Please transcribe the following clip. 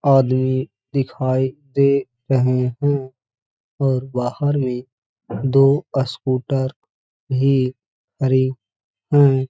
आदमी दिखाई दे रहे हैं और बाहर भी दो अस्कूटर लिए खड़े हैं |